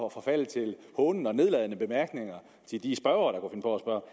at forfalde til hånende og nedladende bemærkninger til de spørgere